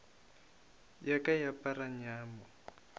ya ka e apara nyamo